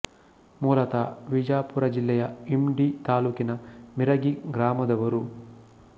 ಮೂಲತ ವಿಜಾಪುರ ಜಿಲ್ಲೆ ಯ ಇಂಡಿ ತಾಲೂಕಿನ ಮಿರಗಿ ಗ್ರಾಮದವರು